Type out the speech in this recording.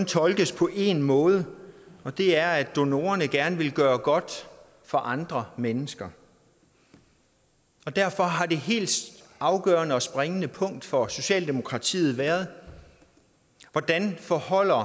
tolkes på én måde og det er at donorerne gerne vil gøre noget godt for andre mennesker og derfor har det helt afgørende og springende punkt for socialdemokratiet været hvordan det forholder